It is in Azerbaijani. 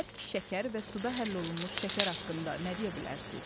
Bərk şəkər və suda həll olunmuş şəkər haqqında nə deyə bilərsiz?